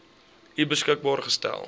u beskikbaar gestel